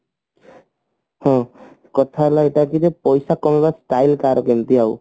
ହଁ କଥା ହେଲା ଏଇଟା କିଯେ ପଇସା କମେଇବା style କାହାର କେମିତି ଆଉ